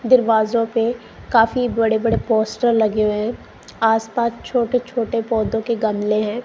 दरवाजों पे काफी बड़े बड़े पोस्टर लगे हुए है आस पास छोटे छोटे पौधों के गमले हैं।